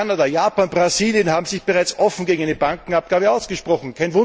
Kanada, Japan, Brasilien haben sich bereits offen gegen eine Bankenabgabe ausgesprochen.